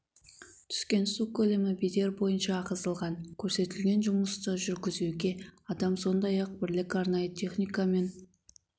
түскен су көлемі бедер бойынша ағызылған көрсетілген жұмысты жүргізуге адам сондай-ақ бірлік арнайы техника мен